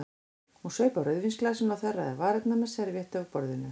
Hún saup af rauðvínsglasinu og þerraði varirnar með servíettu af borðinu.